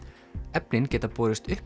efnin geta borist upp